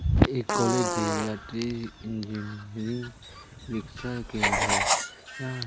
ये एक college area ट्रे इंजीनियरिंग परिक्षा केंद्र है। यहाँ--